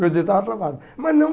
Meu dedo estava travado. Mas não